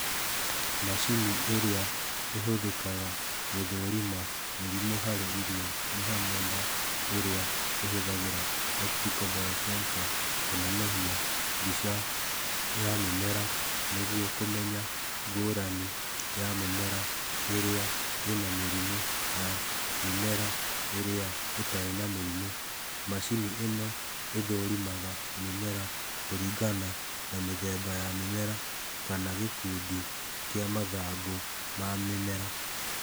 Macini ĩrĩa ĩhũthĩkaga gũthũrima mĩrimũ harĩ irio nĩ hamwe na ĩrĩa ĩhũthagĩra optical bio-sensor kũnenehia mbica ya mĩmera nĩguo kũmenya ngũrani ya mĩmera ĩrĩa ĩna mĩrimũ na mĩmera ĩrĩa ĩtarĩ na mĩrimũ, macini ĩno ĩthũrimaga mĩmera kũringana na mĩthemba ya mĩmera kana gĩkũndi kĩa mathangũ ma mĩmera.